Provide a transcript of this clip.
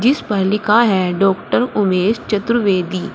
इस पर लिखा है डाक्टर उमेश चतुर्वेदी।